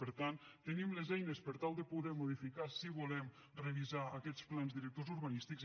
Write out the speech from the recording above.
per tant tenim les eines per tal de poder modificar si volem revisar aquests plans directors urbanístics